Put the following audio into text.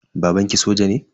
Babanki soja ne?